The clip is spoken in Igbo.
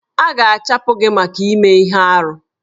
A ga-achụpụ gị maka ime ihe arụ.